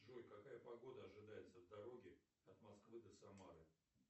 джой какая погода ожидается в дороге от москвы до самары